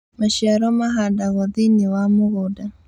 Maciaro mahandagwo thĩinĩ wa mũgũnda